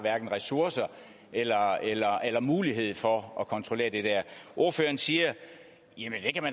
ressourcer eller eller mulighed for at kontrollere det der ordføreren siger